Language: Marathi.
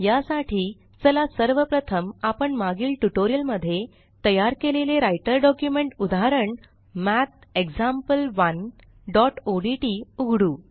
या साठी चला सर्व प्रथम आपण मागील ट्यूटोरियल मध्ये तयार केलेले राइटर डॉक्युमेंट उदाहरण mathexample1ओडीटी उघडू